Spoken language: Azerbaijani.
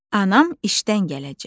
Anam işdən gələcək.